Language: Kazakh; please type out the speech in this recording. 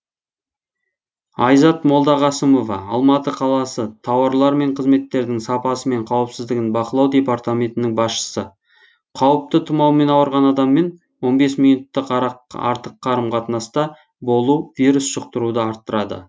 айзат молдағасымова алматы қаласы тауарлар мен қызметтердің сапасы мен қауіпсіздігін бақылау департаментінің басшысы қауіпті тұмаумен ауырған адаммен он бес минуттық артық қарым қатынаста болу вирус жұқтыруды арттырады